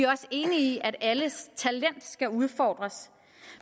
også enige i at alles talent skal udfordres